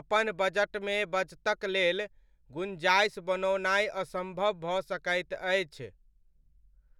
अपन बजटमे बचतक लेल गुञ्जाइस बनओनाइ असम्भव भऽ सकैत अछि।